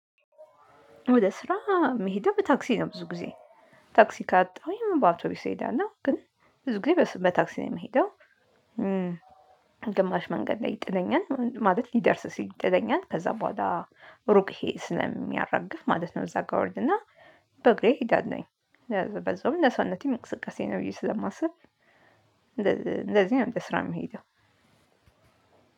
ወደ ስራ መሄደው በታክሲ ነው ብዙ ጊዜ ታክሲ ካጣሁኝ በአውቶቢስ እሄዳለሁ ግን ብዙ ጊዜ በታክሲ ነው የምሄደው። ግማሽ መንገድ ላይ ይጥለኛል ማለት ሊደርስ ሲል ይጥለኛል ከዛ በኋላ ሩቅ ይሄ ስለሚያራግፍ ማለት ነው። እዛ ጋር እወርድና በእግሬ እሄዳለውኝ በዛውም ለሰውነቴም እንቅስቃሴ ነው ብዬ ስለማስብ። እንደዚህ እንደዚህ አይነት ስራ የሚሄደው